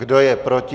Kdo je proti?